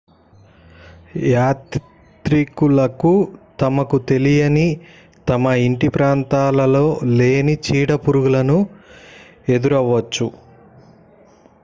యాత్రికులు తమకు తెలియని తమ ఇంటి ప్రాంతాలలో లేని చీడ పురుగులును ఎదురవ్వచ్చు